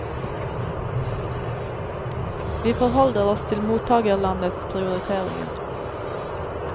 Vi forholder oss til mottakerlandets prioriteringer.